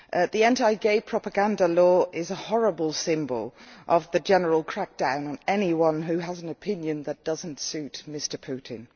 The anti gay propaganda law is a horrible symbol of the general crackdown on anyone who has an opinion that does not suit Mr Putin.